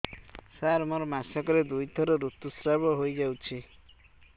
ସାର ମୋର ମାସକରେ ଦୁଇଥର ଋତୁସ୍ରାବ ହୋଇଯାଉଛି